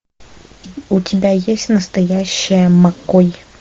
у тебя есть настоящая маккой